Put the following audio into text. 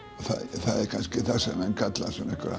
það er kannski það sem menn kalla